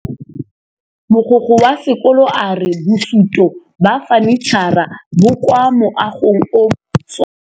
Mogokgo wa sekolo a re bosutô ba fanitšhara bo kwa moagong o mošwa.